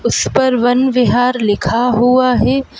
उस पर वन विहार लिखा हुआ है।